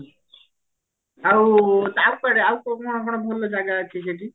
ଆଉ ଆଉ କୁଆଡେ ଆଉ କୋଉଠି କଣ କଣ ଭଲ ଜାଗାଅଛି ସେଠି